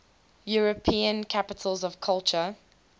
european capitals of culture